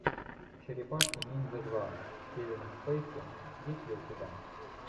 черепашки ниндзя два с кевином спейси есть ли у тебя